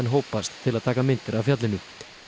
hópast til að taka myndir af fjallinu